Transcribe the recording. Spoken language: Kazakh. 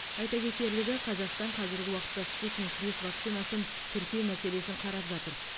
айта кетерлігі қазақстан қазіргі уақытта спутник бес вакцинасын тіркеу мәселесін қарап жатыр